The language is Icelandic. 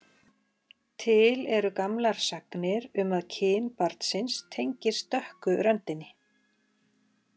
Til eru gamlar sagnir um að kyn barnsins tengist dökku röndinni.